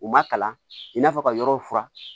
U ma kalan i n'a fɔ ka yɔrɔw furan